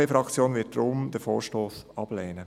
Die EVP-Fraktion wird deshalb diesen Vorstoss ablehnen.